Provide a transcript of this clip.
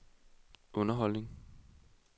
underholdning